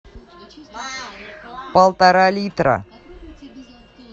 полтора литра